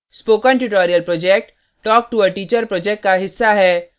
spoken tutorial project talktoa teacher project का हिस्सा है